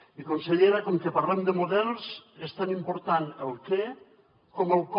i consellera com que parlem de models és tan important el què com el com